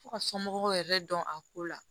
Fo ka somɔgɔw yɛrɛ dɔn a ko la